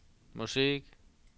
musik